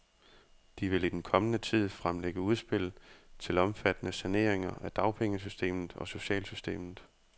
De vil i den kommende tid fremlægge udspil til omfattende saneringer af dagpengesystemet og socialsystemet.